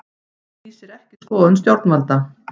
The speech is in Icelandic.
Lýsir ekki skoðun stjórnvalda